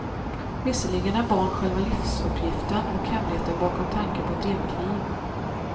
Visserligen är barn själva livsuppgiften och hemligheten bakom tanken på ett evigt liv.